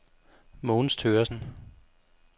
Mogens Thøgersen